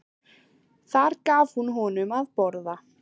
Þar gaf hún honum að borða.